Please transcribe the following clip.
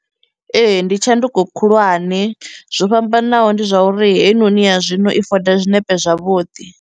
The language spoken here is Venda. Ee, ndi tshanduko khulwane, zwo fhambanaho ndi zwa uri heinoni ya zwino i foda zwinepe zwavhuḓi.